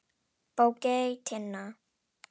Bogey Tinna.